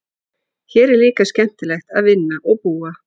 Hér er líka skemmtilegt að vinna og búa.